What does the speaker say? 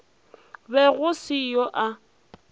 be go se yo a